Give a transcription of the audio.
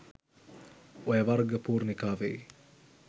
ඔය වර්ග පූර්ණිකාවෙ